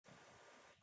афина ханатаба